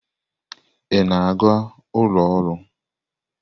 Ị na-aga ụlọ ọrụ?